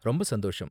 ரொம்ப சந்தோஷம்.